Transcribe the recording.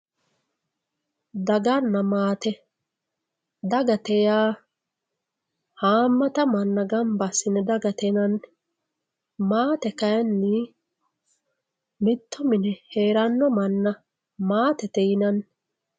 daganna maate dagate yaa haammata nmanna gamba assine dagate yinanni maate kayiinni mitto mine heeranno manna maatete yinanni.